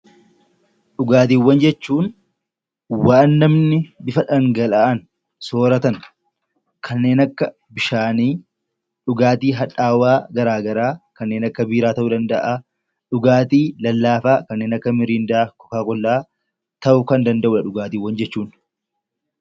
Dhugaatiiwwan jechuun waan namni bifa dhangala'aan sooratan kanneen akka bishaanii dhugaatii hadhaawaa garaagaraa kanneen akka biiraa ta'uu danda'a. Dhugaatii lallaafaa kanneen akka mirindaa , kookaa kollaa ta'uu danda'a.